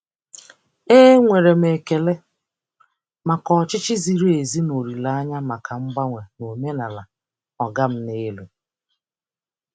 E nwere m ekele maka ọchịchị ziri ezi na olile anya maka mgbanwe na omenala "ọga m n'elu".